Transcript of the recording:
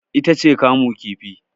ita ce kamu kifi